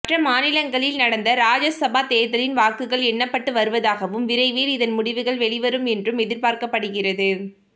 மற்ற மாநிலங்களில் நடந்த ராஜ்யசபா தேர்தலின் வாக்குகள் எண்ணப்பட்டு வருவதாகவும் விரைவில் இதன் முடிவுகள் வெளிவரும் என்றும் எதிர்பார்க்கப்படுகிறது